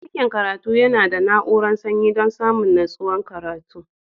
Dakin karatu yana da na'urar sanyi dan samun nutsuwar karatu.